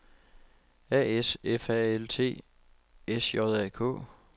A S F A L T S J A K